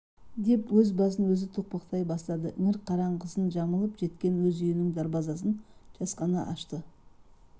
деп өз басын өзі тоқпақтай бастады іңір қараңғысын жамылып жеткен өз үйінің дарбазасын жасқана ашты